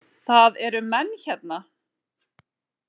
Það eru menn hérna!